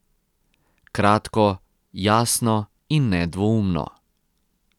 Kratko, jasno in nedvoumno.